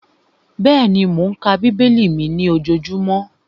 Bẹ́ẹ̀ni, mò ń ka bíbélì mi ní ojojúmọ́